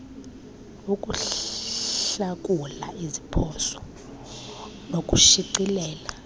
ukuhlakula iziphoso nokushicilela